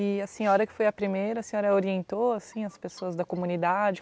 E a senhora que foi a primeira, a senhora orientou assim as pessoas da comunidade?